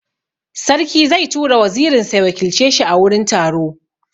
Sarki zai tura wazirin sa ya wakilce shi a wurin taro.